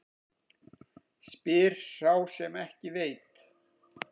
Spyr sá sem ekki veit.